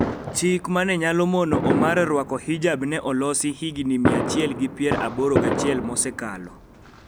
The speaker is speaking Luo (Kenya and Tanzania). Chik ma ne nyalo mono Omar rwako hijab ne olosi higini mia achiel gi pier aboro gachiel mosekalo,